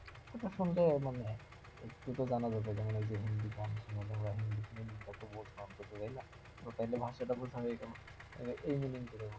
ওটা শুনতে মানে একটু তো জানা দরকার যেমন ঐযে হিন্দি গান শুনে তোমরা হিন্দি film টাকে বোঝা অন্তত যায় তাইনা? তো তাহিলে ভাষাটা বোঝা হয়ে গেল